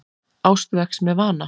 Ást vex með vana.